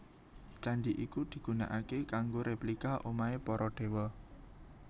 Candi iki digunaaké kanggo replika omahé para Dewa